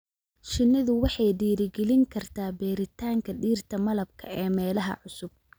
Shinnidu waxay dhiirigelin kartaa beeritaanka dhirta malabka ee meelaha cusub.